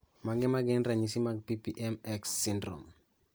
Mage magin ranyisi mag PPM X syndrome